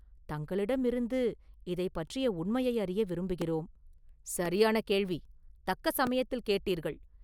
தங்களிடமிருந்து இதைப் பற்றிய உண்மையை அறிய விரும்புகிறோம்.” “சரியான கேள்வி; தக்க சமயத்தில் கேட்டீர்கள்.